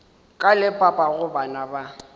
ka le papago bana ba